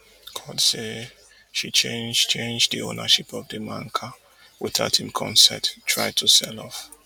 court say she change change di ownership of di man car witout hin consent try to sell off